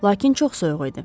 Lakin çox soyuq idi.